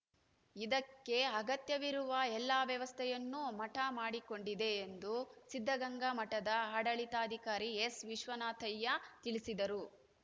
ಇದಕ್ಕೆ ಅಗತ್ಯವಿರುವ ಎಲ್ಲಾ ವ್ಯವಸ್ಥೆಯನ್ನೂ ಮಠ ಮಾಡಿಕೊಂಡಿದೆ ಎಂದು ಸಿದ್ಧಗಂಗಾ ಮಠದ ಆಡಳಿತಾಧಿಕಾರಿ ಎಸ್‌ ವಿಶ್ವನಾಥಯ್ಯ ತಿಳಿಸಿದರು